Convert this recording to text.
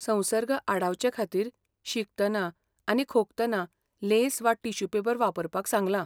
संसर्ग आडावचे खातीर, शिंकतना, आनी खोंकतना लेंस वा टिश्यू पेपर वापरपाक सांगलां.